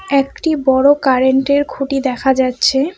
একটি বড় কারেন্ট -এর খুঁটি দেখা যাচ্ছে।